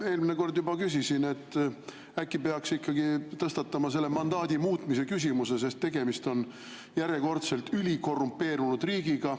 Eelmine kord juba küsisin, et äkki peaks ikkagi tõstatama selle mandaadi muutmise küsimuse, sest tegemist on järjekordselt ülikorrumpeerunud riigiga.